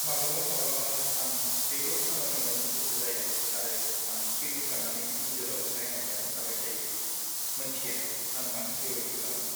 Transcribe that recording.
माब्लाबा-माब्लाबा आं जेबो खामानि मावनो गोसो जाया आरो आं सिरि थानानै इनजुराव नायहाबनानै थाबाय थायो, मोन्थिया आं मानो बेबादि खालामो।